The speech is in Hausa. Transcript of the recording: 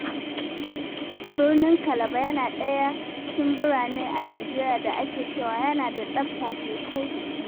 Birnin Calabar yana ɗaya cikin birane a Najeriya da ake cewa yana da tsafta sosai.